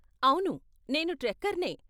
అవును, నేను ట్రెక్కర్నే.